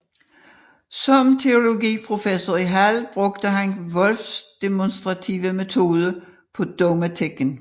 Som teologiprofessor i Halle brugte han Wolffs demonstrative metode på dogmatikken